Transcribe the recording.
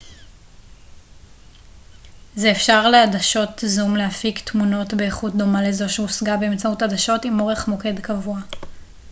זה אפשר לעדשות זום להפיק תמונות באיכות דומה לזו שהושגה באמצעות עדשות עם אורך מוקד קבוע